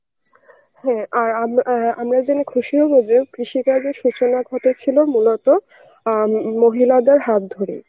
হ্যাঁ, আর আম~ আমরা জেনে খুশি হব যে কৃষি কাজের সূচনা ঘটেছিল মূলত অ্যাঁ মহিলাদের হাত ধরে